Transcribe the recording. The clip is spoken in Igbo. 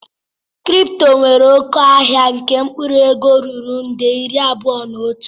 Kripto nwere oke ahịa nke mkpụrụ ego ruru nde iri abụọ na otu.